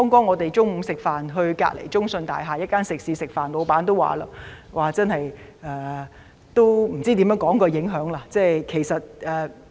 我們剛才到隔鄰中信大廈一間食肆午膳，店主說不知如何形容所受到的影響。